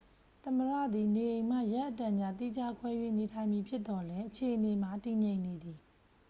သမ္မတသည် နေအိမ်မှ ရက်အတန်ကြာ သီးခြားခွဲ၍နေထိုင်မည်ဖြစ်သော်လည်းအခြေအနေမှာ တည်ငြိမ်နေသည်